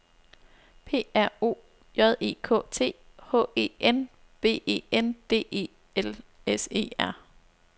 P R O J E K T H E N V E N D E L S E R